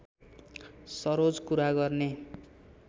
सरोज कुरा गर्ने